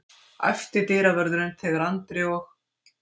æpti dyravörðurinn þegar Andri og